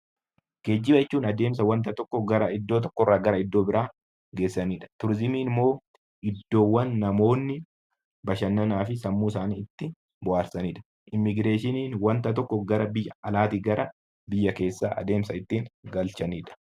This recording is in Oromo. Geejjiba jechuun adeemsa wanta tokko gara iddoo tokkorraa gara iddoo biraa geessanidha. Turizimiin immoo iddoowwan namoonni bashannanaa fi sammuu isaanii itti bohaarsanidha. Immigireeshiniin wanta tokko gara biyya alaatii gara biyya keessaa adeemsa ittiin galchanidha.